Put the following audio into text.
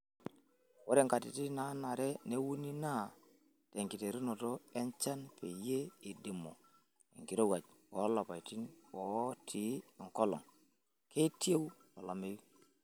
Ore nkatitin naanare neuni naa tenkiteru enchan peyie eidimu enkirowuaj olapaitin oitii enkolong'.Keitieu olameyu.